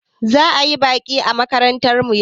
Za'a yi baƙi a makarantar mu yau.